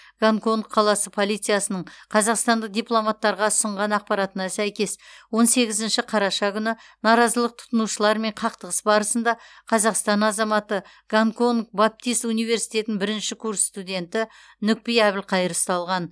гонконг қаласы полициясының қазақстандық дипломаттарға ұсынған ақпаратына сәйкес он сегізінші қараша күні наразылық танытушылармен қақтығыс барысында қазақстан азаматы гонконг баптист университетінің бірінші курс студенті нүкпи әбілқайыр ұсталған